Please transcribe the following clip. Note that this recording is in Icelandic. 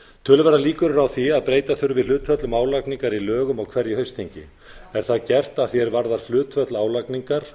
töluverðar líkur eru á því að breyta þurfi hlutföllum álagningar í lögum á hverju haustþingi er það gert að því er varðar hlutföll álagningar